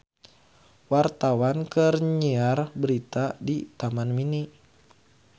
Wartawan keur nyiar berita di Taman Mini